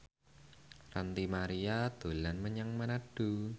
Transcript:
Ranty Maria dolan menyang Manado